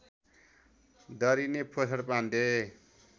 दरिने पोषण पाण्डे